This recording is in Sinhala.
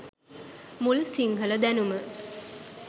මුල් සිංහල දැනුම